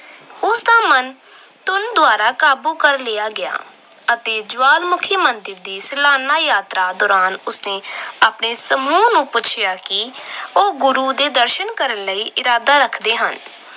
ਤਾਂ ਮਨ ਧੁਨ ਦੁਆਰਾ ਕਾਬੂ ਕਰ ਲਿਆ ਗਿਆ ਅਤੇ ਜਵਾਲਾਮੁਖੀ ਮੰਦਰ ਦੀ ਸਲਾਨਾ ਯਾਤਰਾ ਦੌਰਾਨ ਉਸਨੇ ਆਪਣੇ ਸਮੂਹ ਨੂੰ ਪੁੱਛਿਆ ਕਿ ਉਹ ਗੁਰੂ ਦੇ ਦਰਸ਼ਨ ਕਰਨ ਲਈ ਇਰਾਦਾ ਰੱਖਦੇ ਹਨ।